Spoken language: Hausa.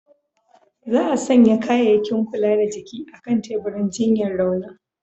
Za'a sanya kayakin kula da jiki a'kan teburin jinyar raunin.